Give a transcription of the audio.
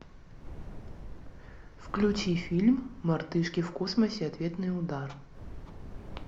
включи фильм мартышки в космосе ответный удар